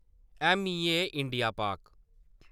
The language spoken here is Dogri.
ऐम्मईए-इंडिया-पाक